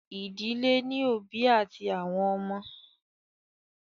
Ìdílé ní òbí àti àwọn ọmọ.